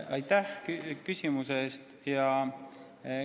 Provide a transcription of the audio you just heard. Aitäh küsimuse eest!